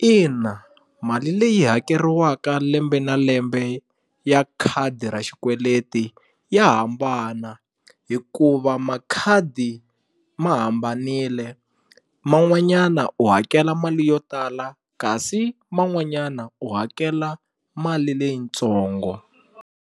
Ina mali leyi hakeriwaka lembe na lembe ya khadi ra xikweleti ya hambana hikuva makhadi ma hambanile man'wanyana u hakela mali yo tala kasi man'wanyana u hakela mali leyitsongo.